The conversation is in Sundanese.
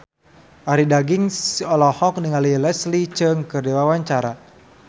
Arie Daginks olohok ningali Leslie Cheung keur diwawancara